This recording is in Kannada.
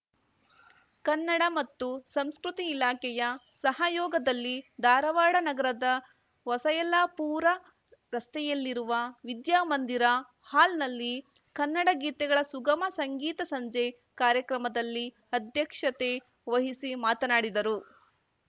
ಕನ್ನಡ ಮತ್ತು ಸಂಸ್ಕೃತಿ ಇಲಾಖೆಯ ಸಹಯೋಗದಲ್ಲಿ ಧಾರವಾಡ ನಗರದ ಹೊಸಯಲ್ಲಾಪೂರ ರಸ್ತೆಯಲ್ಲಿರುವ ವಿದ್ಯಾಮಂದಿರ ಹಾಲ್ನಲ್ಲಿ ಕನ್ನಡ ಗೀತೆಗಳ ಸುಗಮ ಸಂಗೀತ ಸಂಜೆ ಕಾರ್ಯಕ್ರಮದಲ್ಲಿ ಅಧ್ಯಕ್ಷತೆ ವಹಿಸಿ ಮಾತನಾಡಿದರು